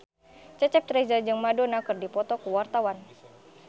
Cecep Reza jeung Madonna keur dipoto ku wartawan